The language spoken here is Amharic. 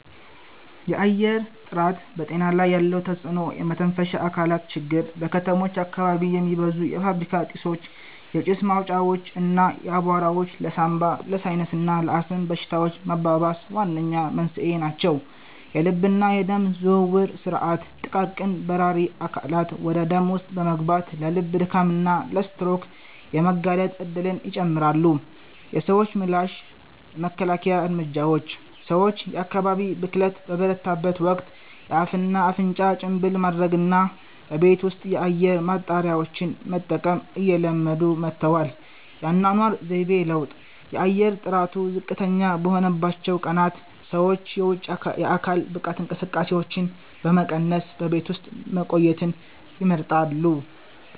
የአየር ጥራት በጤና ላይ ያለው ተጽዕኖ የመተንፈሻ አካላት ችግር:- በከተሞች አካባቢ የሚበዙ የፋብሪካ ጢሶች፣ የጭስ ማውጫዎች እና አቧራዎች ለሳንባ፣ ለሳይነስ እና ለአስም በሽታዎች መባባስ ዋነኛ መንስኤ ናቸው። የልብና የደም ዝውውር ሥርዓት፦ ጥቃቅን በራሪ አካላት ወደ ደም ውስጥ በመግባት ለልብ ድካም እና ለስትሮክ የመጋለጥ እድልን ይጨምራሉ። የሰዎች ምላሽ የመከላከያ እርምጃዎች፦ ሰዎች የአየር ብክለት በበረታበት ወቅት የአፍና አፍንጫ ጭንብል ማድረግንና በቤት ውስጥ የአየር ማጣሪያዎችን መጠቀምን እየለመዱ መጥተዋል። የአኗኗር ዘይቤ ለውጥ፦ የአየር ጥራቱ ዝቅተኛ በሆነባቸው ቀናት ሰዎች የውጪ የአካል ብቃት እንቅስቃሴዎችን በመቀነስ በቤት ውስጥ መቆየትን ይመርጣሉ።